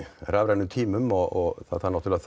rafrænum tímum og það þarf náttúrulega